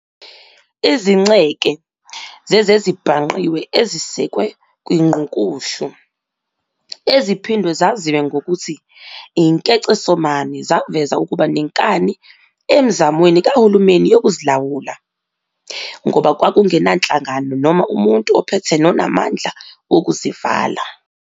Izinceke zezezibhangqiwe ezisekwe kwiNgqukuhlu, eziphindwe zaziwe ngokuthi inkecesomane zaveza ukuba nenkani emizamweni kahulumeni yokuzilawula, ngoba kwakungenanhlangano noma umuntu ophethe nonamandla wokuzivala.